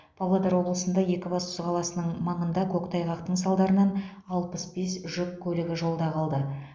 павлодар облысында екібастұз қаласының маңында көктайғақтың салдарынан алпыс бес жүк көлігі жолда қалды